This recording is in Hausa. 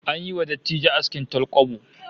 An yi wa dattijo askin talkwabo